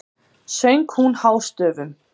söng hún hástöfum.